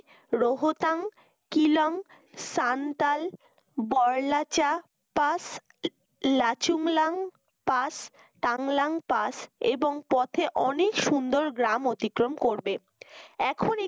রহতাং কিলং সান্তাল Baralacha pass Lachulung pass বাংলাং pass এবং পথে অনেক সুন্দর গ্রাম অতিক্রম করবে এখন